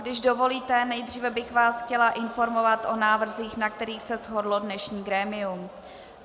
Když dovolíte, nejdříve bych vás chtěla informovat o návrzích, na kterých se shodlo dnešní grémium.